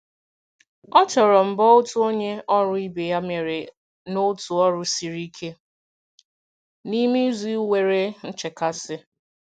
O toro mbọ otu onye ọrụ ibe ya mere n'otu ọrụ siri ike n'ime izu nwere nchekasị.